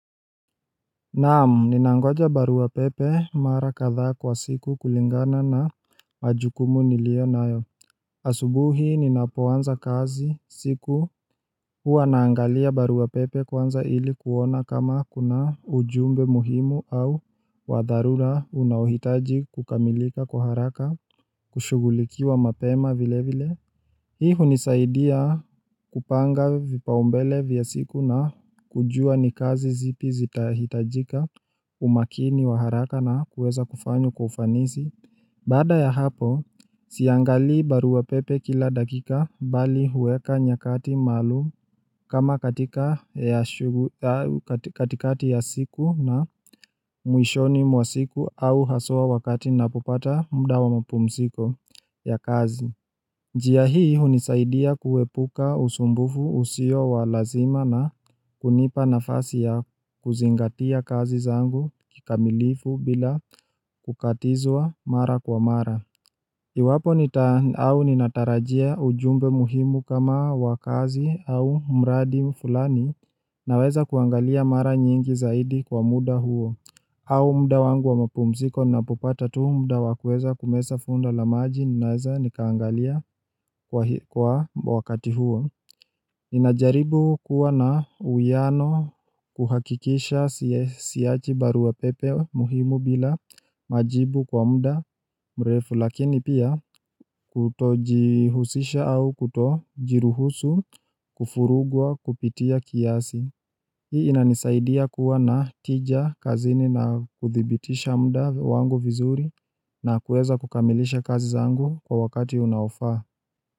Naam, ninangoja barua pepe mara kadhaa kwa siku kulingana na majukumu niliyo nayo. Asubuhi ninapoanza kazi siku huwa naangalia barua pepe kwanza ili kuona kama kuna ujumbe muhimu au wa dharura unaohitaji kukamilika kwa haraka, kushughulikiwa mapema vile vile. Hii hunisaidia kupanga vipaumbele vya siku na kujua ni kazi zipi zitahitajika umakini wa haraka na kuweza kufanywa kwa ufanisi. Baada ya hapo, siangalii barua pepe kila dakika bali huweka nyakati maalum kama katikati ya siku na mwishoni mwa siku au haswa wakati ninapopata mda wa mapumziko ya kazi. Njia hii hunisaidia kuepuka usumbufu usio wa lazima na kunipa nafasi ya kuzingatia kazi zangu kikamilifu bila kukatizwa mara kwa mara. Iwapo nita au ninatarajia ujumbe muhimu kama wa kazi au mradi fulani naweza kuangalia mara nyingi zaidi kwa muda huo au mda wangu wa mapumziko napopata tu mda wa kueza kumesa funda la maji naweza nikaangalia kwa wakati huo Ninajaribu kuwa na uwiano kuhakikisha siachi barua pepe muhimu bila majibu kwa muda mrefu lakini pia Kutojihusisha au kutojiruhusu kufurugwa kupitia kiasi Hii inanisaidia kuwa na tija kazini na kuthibitisha mda wangu vizuri na kuweza kukamilisha kazi zangu kwa wakati unaofaa.